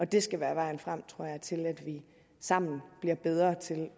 det skal være vejen frem tror jeg til at vi sammen bliver bedre til at